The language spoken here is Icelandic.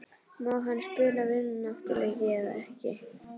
Má hann spila vináttuleiki eða ekki?